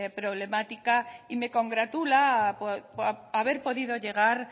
problemática y me congratula haber podido llegar